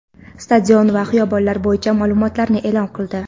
stadion va xiyobonlar bo‘yicha ma’lumotlarni e’lon qildi.